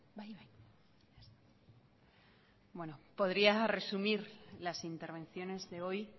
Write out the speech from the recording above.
podría resumir las intervenciones de hoy